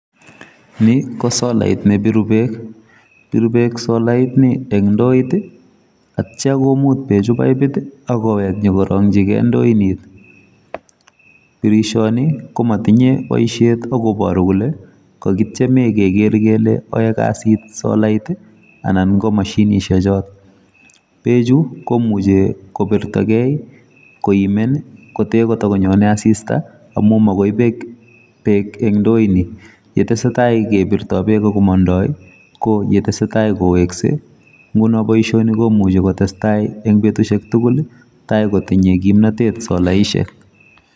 Ni ko solait nebiru beek biru beek solaini eng ndoit aktia komut bechu pipit akowek nyokoroingyike ndoini ,birishoni komotinye boisiet akoporu kole kokitieme keker kele yoe kazit solait ana ko moshinishechon ,bechu komuche kobirtoke koimen kotee kotokonyone asista amun mokio beek eng ndoini yetesetai kebirto beek ako mondoo ko yetesetai kowekse nguno boisioni komuch kotesta eng betusiek tugul taikotinye kipnotet solaisiek.